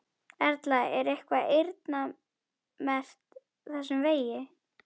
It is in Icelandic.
Erla: Er eitthvað eyrnamerkt þessum vegi?